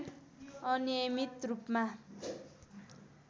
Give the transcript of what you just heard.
अनियमित रूपमा